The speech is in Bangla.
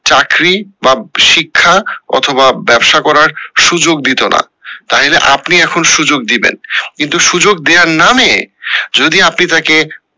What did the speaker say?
চাকরি বা শিক্ষা অথবা ব্যাবসা করার সুযোগ দিতো না, তাহলে আপনি এখন সুযোগ দিবেন কিন্তু সুযোগ দেয়ার নামে যদি আপনি তাকে